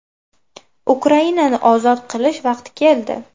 Ukrainani ozod qilish vaqti keldi.